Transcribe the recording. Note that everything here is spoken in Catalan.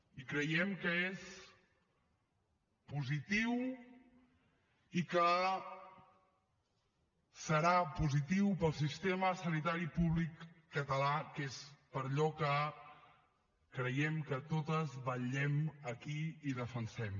i creiem que és positiu i que serà positiu per al sistema sanitari públic català que és per allò que creiem que totes vetllem aquí i defensem